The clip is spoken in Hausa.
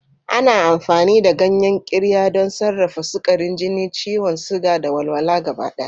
Ana amfani da ganyen Qirya don sarrafa sukarin jini, ciwon suga, da walwala gabaɗaya.